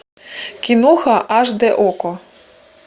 киноха аш дэ окко